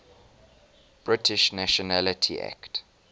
british nationality act